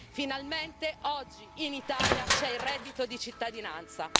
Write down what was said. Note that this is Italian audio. Finalmente oggi in Italia c'è il reddito di cittadinanza.